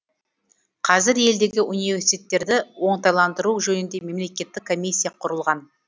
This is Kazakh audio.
қазір елдегі университеттерді оңтайландыру жөнінде мемлекеттік комиссия құрылған